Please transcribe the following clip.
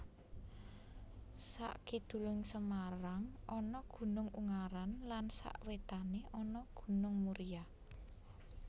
Sakiduling Semarang ana Gunung Ungaran lan sawétané ana Gunung Muria